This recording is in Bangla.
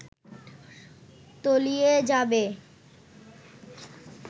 তলিয়ে যাবে